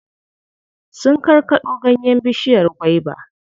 Sun karkaɗo ganyen bishiyar gwaiba.